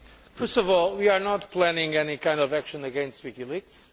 First of all, we are not planning any kind of action against WikiLeaks.